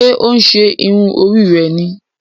Ṣe o n ṣe irun Orí rẹ ní?